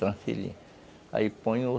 Aí põe ó.